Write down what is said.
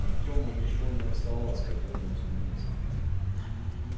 артёму ничего не оставалось как вернуться на место